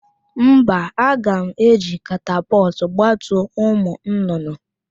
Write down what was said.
Mba, a ga m eji katapọtụ gbatuo ụmụ nnụnụ